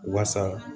Wasa